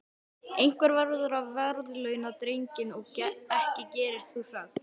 Einhver verður að verðlauna drenginn og ekki gerir þú það.